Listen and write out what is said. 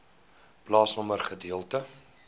plaasnommer gedeelte